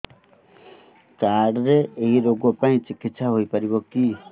card ରେ ଏଇ ରୋଗ ପାଇଁ ଚିକିତ୍ସା ହେଇପାରିବ କି